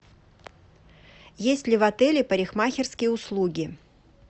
есть ли в отеле парикмахерские услуги